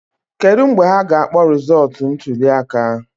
Kedu mgbe ha ga-akpọ rịzọtụ ntulịaka